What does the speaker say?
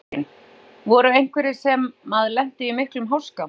Þóra Kristín: Voru einhverjir sem að lentu í miklum háska?